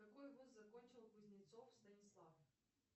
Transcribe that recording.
какой вуз закончил кузнецов станислав